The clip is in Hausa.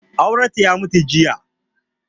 Aurenta ya mutu jiya.